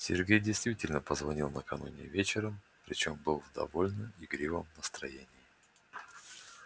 сергей действительно позвонил накануне вечером причём был в довольно игривом настроении